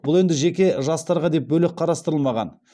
бұл енді жеке жастарға деп бөлек қарастырылмаған